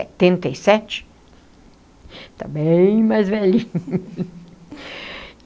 e sete está bem mais velhinho.